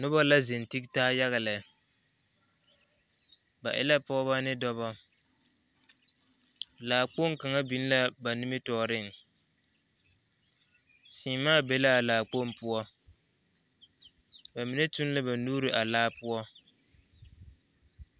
Noba la zeŋ tege taa yaga lɛ, ba e la pɔgebɔ ne dɔbɔ laakpoŋ kaŋa biŋ la ba nimitɔɔreŋ, seemaa be la a laakpoŋ poɔ bamine toŋ la ba nuuri a laa poɔ.